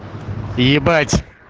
ебать